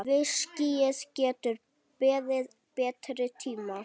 Viskíið getur beðið betri tíma.